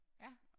Ja